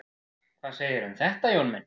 Hvað segirðu um þetta, Jón minn?